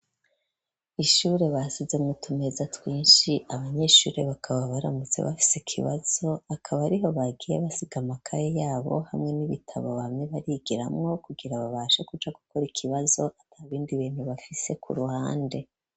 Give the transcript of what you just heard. Ishure basize mu tumeza twinshi abanyeshure bakaba baramutse bafise ikibazo akaba ariho bagiye basiga makaye yabo hamwe n'ibitabo bamye bigiramwo kugira babashe kuja gukora ikibazo atabindi bintu bafise kuruhande.